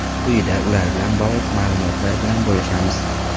Quyida ular bilan bog‘liq ma’lumotlar bilan bo‘lishamiz.